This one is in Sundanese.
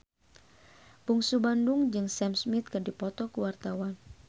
Bungsu Bandung jeung Sam Smith keur dipoto ku wartawan